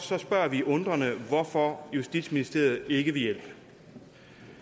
spørger vi undrende hvorfor justitsministeriet ikke vil hjælpe